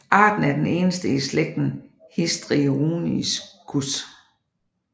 Arten er den eneste i slægten Histrionicus